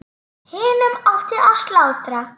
Hinum átti að slátra.